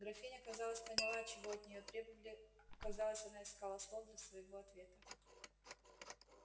графиня казалось поняла чего от нее требовали казалось она искала слов для своего ответа